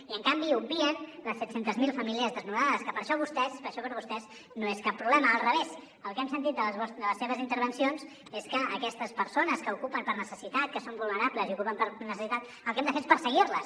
i en canvi obvien les set cents miler famílies desnonades però això per vostès no és cap problema al revés el que hem sentit des de les seves intervencions és que aquestes persones que ocupen per necessitat que són vulnerables i ocupen per necessitat el que hem de fer és perseguir les